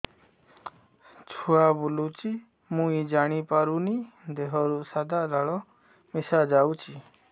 ଛୁଆ ବୁଲୁଚି ମୁଇ ଜାଣିପାରୁନି ଦେହରୁ ସାଧା ଲାଳ ମିଶା ଯାଉଚି